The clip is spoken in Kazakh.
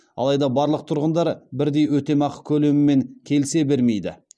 алайда барлық тұрғындар бірдей өтемақы көлемімен келісе бермейді